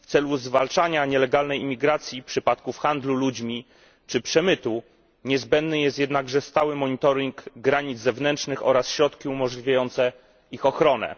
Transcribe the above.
Do zwalczania nielegalnej imigracji, przypadków handlu ludźmi czy przemytu niezbędny jest jednakże stały monitoring granic zewnętrznych oraz środki umożliwiające ich ochronę.